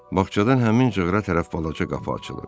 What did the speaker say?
Bağçadan həmin cığıra tərəf balaca qapı açılır.